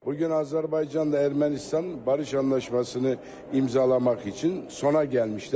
Bugün Azərbaycanda Ermənistan barış anlaşmasını imzalamaq üçün sona gəlmişlər.